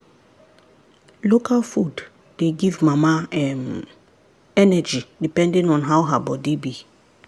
local food dey give mama um energy depending on how her body be.